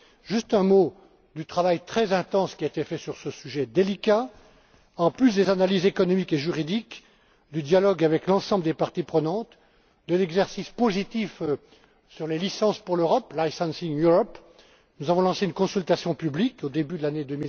Juste un mot du travail très intense qui a été fait sur ce sujet délicat en plus des analyses économiques et juridiques, du dialogue avec l'ensemble des parties prenantes, de l'exercice positif sur les licences pour l'Europe Licensing Europe nous avons lancé une consultation publique au début de l'année